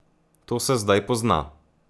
To se zdaj pozna.